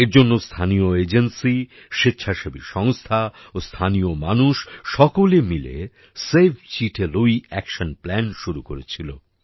এর জন্য স্থানীয় এজেন্সি স্বেচ্ছাসেবী সংস্থা ও স্থানীয় মানুষ সকলে মিলে সেভ চিটে লুই অ্যাকশন প্ল্যান শুরু করেছিল